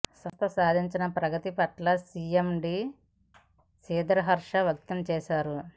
సంస్థ సాధించిన ప్రగతి పట్ల సీఎండీ శ్రీధర్ హర్షం వ్యక్తం చేశారు